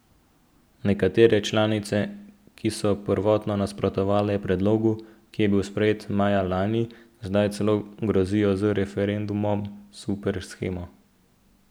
Nekatere članice, ki so prvotno nasprotovale predlogu, ki je bil sprejet maja lani, zdaj celo grozijo z referendumom zoper shemo.